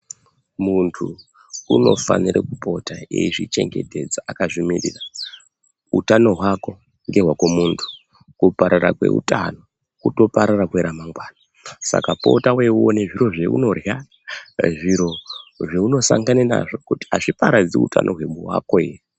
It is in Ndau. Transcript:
Muntu unofanire kupota eizvichengetedza akazvimirira. Utano hwako ngewako muntu, kuparara kweutano, kutoparara kweramangwana, saka pota weiona zviro zveunorya, zviro zveunosangana nazvo kuti hazviparadzi ramangwana rako ere.